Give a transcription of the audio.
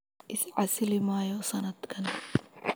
Is casili maayo sanadkan.